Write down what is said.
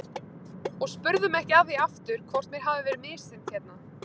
Og spurðu mig ekki að því aftur hvort mér hafi verið misþyrmt hérna.